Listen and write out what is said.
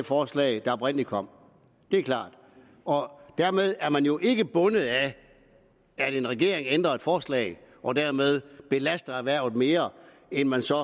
forslag der oprindelig kom det er klart dermed er man jo ikke bundet af at en regering ændrer et forslag og dermed belaster erhvervet mere end man så